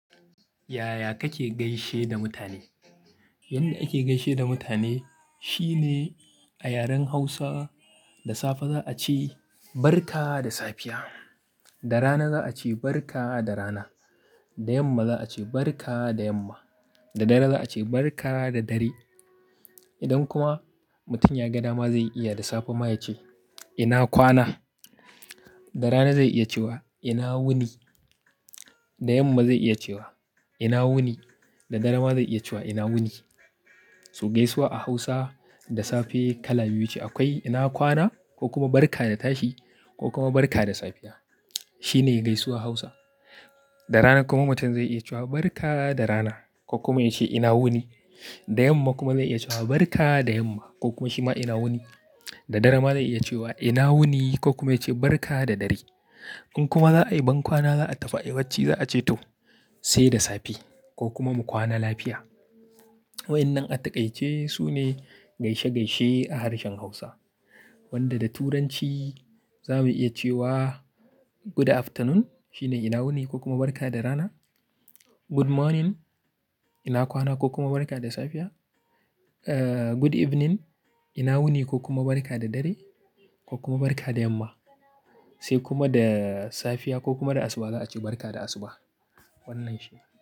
Yaya kake gaishe da mutane? Yanda ike gaishe da mutane shine a yaren Hausa, da safe za a ce "Barka da safiya." Da rana za a ce "Barka da rana." Da yamma za a ce "Barka da yamma." Da dare za a ce "Barka da dare." Idan kuma mutum ya ga dama zai iya da safe ma ya ce, "ina kwana." Da rana zai iya cewa, "ina wuni." Da yamma zai iya cewa, "ina wuni." Da dare ma zai iya cewa, "ina wuni." So gaisuwa a Hausa da safe kala biyu ce akwai, "ina kwana" ko kuma "Barka da tashi" ko kuma "Barka da safiya." Shi ne gaisuwar Hausa. Da rana kuma mutum zai iya cewa, "Barka da rana" ko kuma ya ce, "ina wuni." Da yamma kuma zai iya cewa, "Barka da yamma" ko kuma shi ma "ina wuni." Da dare ma zai iya cewa, "ina wuni" ko kuma ya ce, "Barka da dare." in kuma za a yi bankwana za a tafi a yi bacci za a ce to, "sai da safe" ko kuma "Mu kwana lafiya." Waɗannan a taƙaice su ne gaishe-gaishe a harshen Hausa. Wanda da Turanci za mu iya cewa "Good afternoon" shine "ina wuni" ko kuma "Barka da rana." "Good morning", "ina kwana" ko kuma "Barka da safiya." Eh, "Good evening", "ina wuni" ko kuma "Barka da dare" ko kuma "Barka da yamma." Sai kuma da safiya ko kuma da asuba za a ce "Barka da asuba." Wannan shi ne.